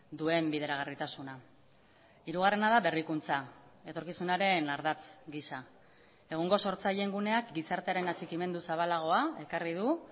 duen bideragarritasuna hirugarrena da berrikuntza etorkizunaren ardatz gisa egungo sortzaileen guneak gizartearen atxikimendu zabalagoa ekarri du